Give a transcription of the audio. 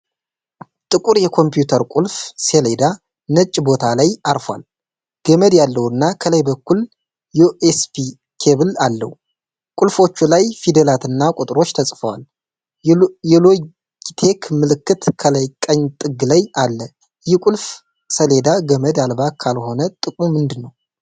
ጥቁር የኮምፒውተር ቁልፍ ሰሌዳ ነጭ ቦታ ላይ አርፎዋል። ገመድ ያለውና ከላይ በኩል ዩኤስቢ ኬብል አለው። ቁልፎቹ ላይ ፊደላትና ቁጥሮች ተጽፈዋል። የሎጊቴክ ምልክት ከላይ ቀኝ ጥግ ላይ አለ። ይህ ቁልፍ ሰሌዳ ገመድ አልባ ካልሆነ ጥቅሙ ምንድን ነው?